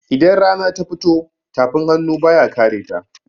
Idan rana ta fito, tafin hannu ba ya kareta.